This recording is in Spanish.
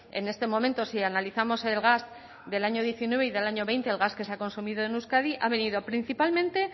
en este momento si analizamos el gas del año diecinueve y del año veinte el gas que se ha consumido en euskadi ha venido principalmente